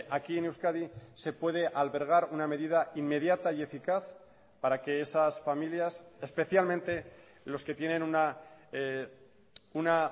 aquí en euskadi se puede albergar una medida inmediata y eficaz para que esas familias especialmente los que tienen una